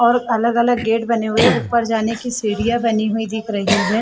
और अलग-अलग गेट बने हुए ऊपर जाने की सीढ़ियाँ बनी हुई दिख रही है।